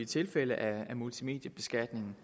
tilfælde af multimedieskatningen